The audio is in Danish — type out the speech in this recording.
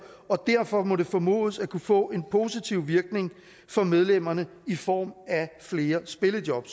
og derfor må det formodes at kunne få en positiv virkning for medlemmerne i form af flere spillejob